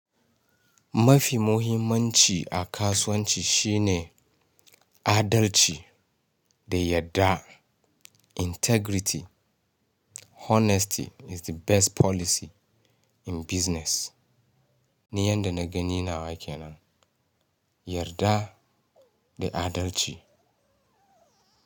Mafi muhimmanci a kasuwanci shine adalci da yarda. Integrity, honesty is the best policy in business ni yanda na gani nawa ke nan, yarda da adalci.